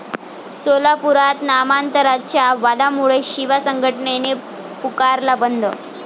सोलापुरात नामांतराच्या वादामुळे शिवा संघटनेने पुकारला बंद